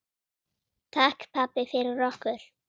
Takk, pabbi, fyrir okkur.